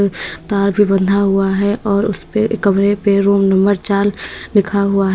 तार भी बंधा हुआ है और उसपे कमरे पे रूम नंबर चार लिखा हुआ है।